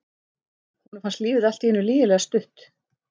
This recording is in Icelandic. Honum fannst lífið allt í einu lygilega stutt.